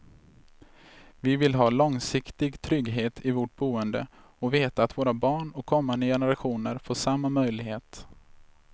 Vi vill ha långsiktig trygghet i vårt boende och veta att våra barn och kommande generationer får samma möjlighet.